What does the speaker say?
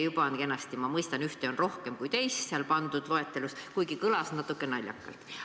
Ma mõistan, et seal loetelus on ühte rohkem kui teist, kuid see kõlas natuke naljakalt.